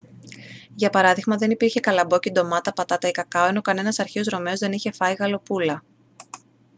για παράδειγμα δεν υπήρχε καλαμπόκι ντομάτα πατάτα ή κακάο ενώ κανένας αρχαίος ρωμαίος δεν είχε φάει γαλοπούλα